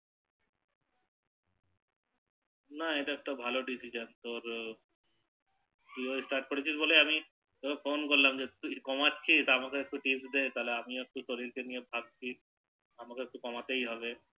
না এটা একটা ভালো Decision তোর তুইও Start করেছিস বলে আমি তোকে Phone করলাম তুই কমাচ্ছিস তো আমাকেও একটু Tips দে তাহলে আমিও একটু শরীর নিয়ে ভাবতি আমাকেও একটু কমাতেই হবে